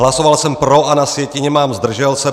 Hlasoval jsem pro a na sjetině mám zdržel se.